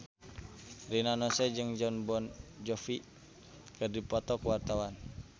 Rina Nose jeung Jon Bon Jovi keur dipoto ku wartawan